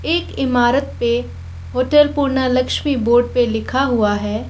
एक इमारत पे होटल पूर्णालक्ष्मी बोड पे लिखा हुआ है।